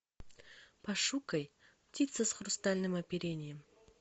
пошукай птица с хрустальным оперением